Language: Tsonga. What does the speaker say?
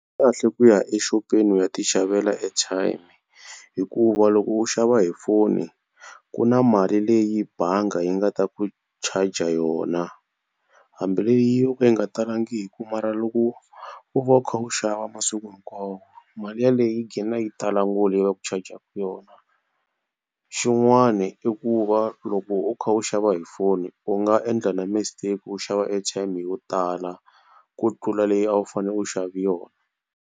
Kahle ku ya exopeni u ya ti xavela airtime hikuva loko u xava hi foni ku na mali leyi bangi yi nga ta ku charger yona hambi leyi yo ka yi nga talangiki mara loko u va u kha u xava masiku hinkwawo mali yeleyo yi gqina yi tala ngopfu leyi va ku changer-ku yona. Xin'wana i ku va loko u kha u xava hi foni u nga endla na mistake u xava airtime yo tala ku tlula leyi a wu fanele u xave yona.